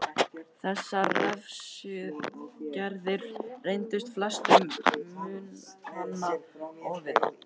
Þessar refsiaðgerðir reyndust flestum munkanna ofviða.